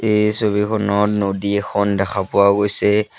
এই ছবিখনত নদী এখন দেখা পোৱা গৈছে।